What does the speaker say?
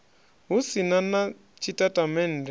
hu si na na tshitatamennde